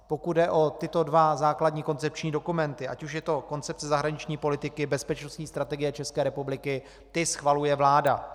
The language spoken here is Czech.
Pokud jde o tyto dva základní koncepční dokumenty, ať už je to Koncepce zahraniční politiky, Bezpečnostní strategie České republiky, ty schvaluje vláda.